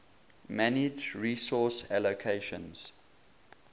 manage resource allocations